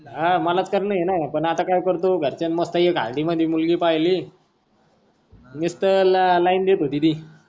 हा मला तर कारण आहे न पण आता काय करतो घरच्यानी मस्त एक हांडी मधी मुलगी पहिली निसत लाइन देत होती ती.